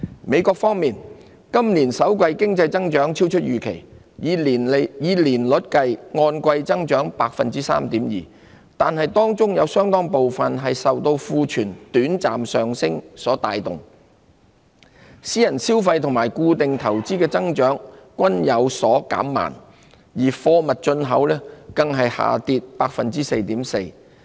美國方面，今年首季經濟增長超出預期，以年率計按季增長 3.2%， 但當中有相當部分是受庫存短暫上升所帶動，私人消費及固定投資的增長均有所減慢，而貨物進口更下跌 4.4%。